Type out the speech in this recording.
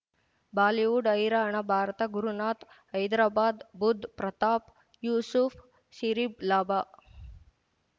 Bollywood ಹೈರಾಣ ಭಾರತ ಗುರುನಾಥ್ ಹೈದರಾಬಾದ್ ಬುಧ್ ಪ್ರತಾಪ್ ಯೂಸುಫ್ ಸಿರಿಬ್ ಲಾಭ